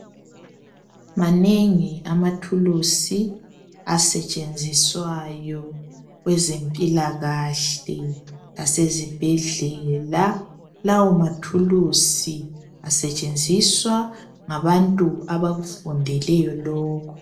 Manengi amathulusi asetshenziswayo kwezempilakahle lasezibhedlela. Lawo mathulusi asetshenziswa ngabantu abakufundeleyo lokhu.